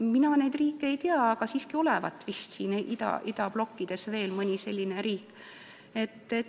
Mina neid riike ei tea, aga siiski olevat vist idablokis veel mõni selline riik.